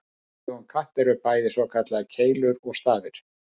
Í augum katta eru bæði svokallaðar keilur og stafir.